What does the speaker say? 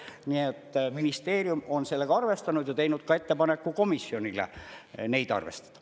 Nii et ministeerium on sellega arvestanud ja teinud ka ettepaneku komisjonile neid arvestada.